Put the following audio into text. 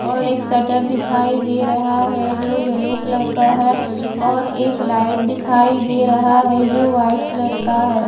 ओर एक शटर दिखाई दे रहा है जो येल्लो कलर का है और एक लाइट दिखाई दे रहा है जो वाइट कलर का है।